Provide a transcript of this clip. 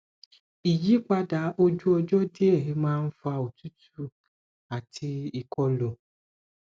ìyípadà ojú ọjọ díẹ máa ń fa òtútù àti ìkọlù